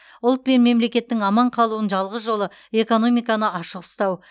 ұлт пен мемлекеттің аман қалуының жалғыз жолы экономиканы ашық ұстау